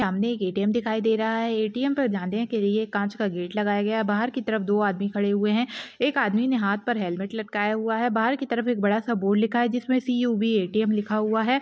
सामने एक ए-टीम-एम दिखाई दे रहा है ए-टी-एम पर जाने के लिए एक कांच का गेट लगाया गया है बाहर की तरफ दो आदमी खड़े हुए है एक आदमी ने हाथ पर एक हेलमेंट लटकाया हुआ है बाहर की तरफ एक बड़ा सा बोर्ड लिखा है जिस मे सी-यू-बी ए-टी-एम लिखा हुआ है